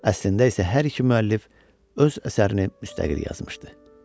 Əslində isə hər iki müəllif öz əsərini müstəqil yazmışdı.